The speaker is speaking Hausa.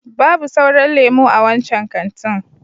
Babu sauran lemo a wancan kantin.